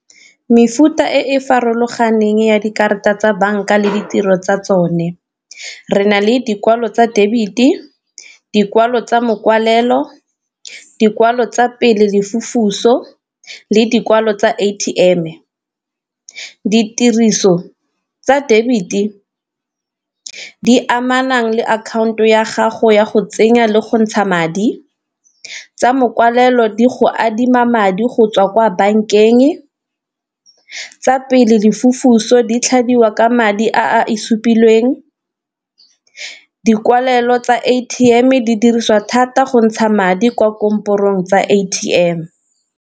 Mefuta e e farologaneng ya dikarata tsa banka le ditiro tsa tsone re na le dikwalo tsa debit, dikwalo tsa mokwalelo, dikwalo tsa le dikwalo tsa A_T_M. Ditiriso tsa debit di amanang le akhanto ya gago ya go tsenya le go ntsha madi, tsa mokwalelo di go adima madi go tswa kwa bankeng, tsa di tlhabiwa ka madi a e supilweng, dikwalelo tsa A_T_M di dirisiwa thata go ntsha madi kwa tsa A_T_M.